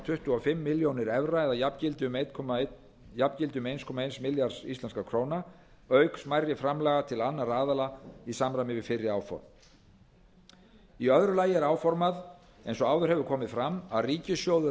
tuttugu og fimm milljónir evra eða jafngildi um einn komma eins milljarðs íslenskar krónur auk smærri framlaga til annarra aðila í samræmi við fyrri áform í öðru lagi er áformað eins og áður hefur komið fram að ríkissjóður